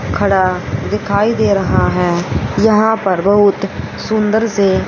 खड़ा दिखाई दे रहा है यहां पर बहुत सुंदर से--